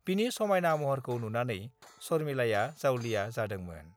बिनि समायना महरखौ नुनानै शर्मिलाया जावलिया जादोंमोन।